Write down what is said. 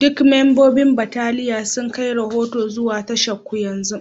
Duk membobin bataliya sun kai rahoto zuwa tasharku yanzu